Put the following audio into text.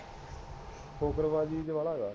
ਫੁਕਰੀਬਾਜੀ ਚ ਬਾਲਾ ਹੈ